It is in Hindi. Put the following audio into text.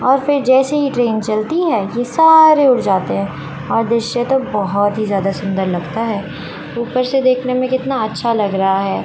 और फिर जैसे ही ट्रेन चलती है ये सारे उठ जाते हैं और दृश्य तो बहुत ही ज्यादा सुंदर लगता है ऊपर से देखने में कितना अच्छा लग रहा है।